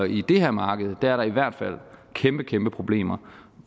i det her marked er der i hvert fald kæmpe kæmpe problemer